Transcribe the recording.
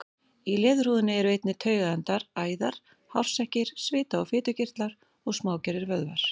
Í leðurhúðinni eru einnig taugaendar, æðar, hársekkir, svita- og fitukirtlar og smágerðir vöðvar.